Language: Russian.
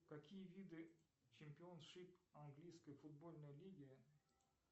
какие виды чемпионшип английской футбольной лиги